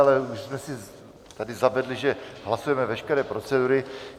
Ale už jsme si tady zavedli, že hlasujeme veškeré procedury.